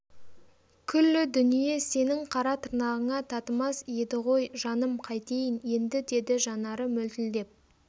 күллі дүние сенің қара тырнағыңа татымас еді ғой жаным қайтейін енді деді жанары мөлтілдеп